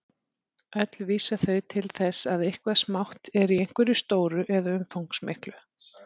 Öll vísa þau til þess að eitthvað smátt er í einhverju stóru eða umfangsmiklu.